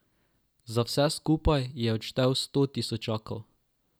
Za vse skupaj je odštel sto tisočakov.